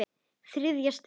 ÞRIÐJA STUND